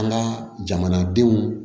An ka jamanadenw